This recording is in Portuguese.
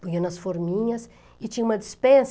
punha nas forminhas e tinha uma dispensa.